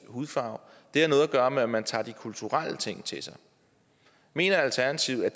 hudfarve det har noget at gøre med at man tager de kulturelle ting til sig mener alternativet at